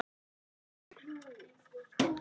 Nýr varaþingmaður